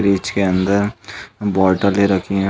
Fridge के अंदर बौटले रखी हैं।